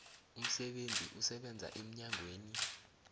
umsebenzi osebenza emnyangweni